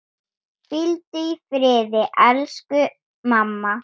Hvíldu í friði, elsku mamma.